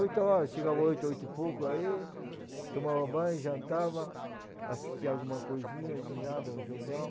Oito horas, chegava oito, oito e pouco aí, tomava banho, jantava, assistia alguma coisinha, de nada, um jornal.